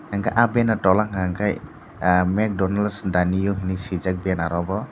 hingke ah banner tolla hingka hingke ah meck donells danio hinui sijak bannero bo.